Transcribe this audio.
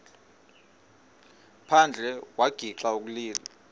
phandle wagixa ukulila